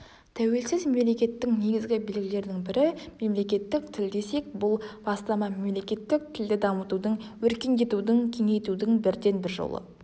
тәуелсіз мемлекеттің негізгі белгілерінің бірі мемлекеттік тіл десек бұл бастама мемлекеттік тілді дамытудың өркендетудің кеңейтудің бірденбір жолы